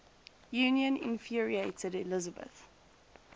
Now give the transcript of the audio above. union infuriated elizabeth